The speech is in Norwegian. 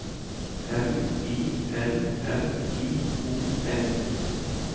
M I L L I O N